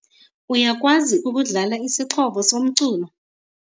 Uyakwazi ukudlala isixhobo somculo?